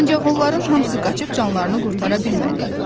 Ancaq onların hamısı qaçıb canlarını qurtara bilmədi.